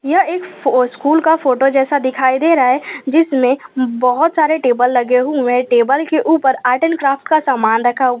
यह एक स्कूल का फोटो जैसा दिखाई दे रहा है जिसमें बहुत सारे टेबल लगे हुए हैं टेबल के ऊपर आर्ट एंड क्राफ्ट का सामान रखा --